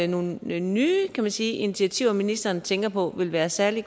nogle nye nye kan man sige initiativer ministeren tænker på ville være særlig